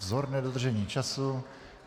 Vzorné dodržení času.